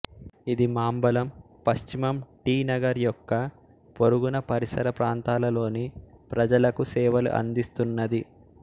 ఇది మాంబళం పశ్చిమం టి నగర్ యొక్క పొరుగున పరిసర ప్రాంతాలలోని ప్రజలకు సేవలు అందిస్తున్నది